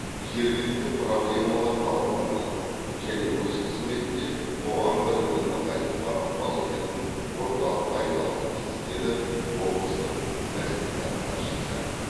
жергілікті проблемалар талқыланатын және өз қызметінде қоғам бірлігін нығайтуға ықпал ететін орталыққа айналуы тиісті деді облыстық мәслихат хатшысы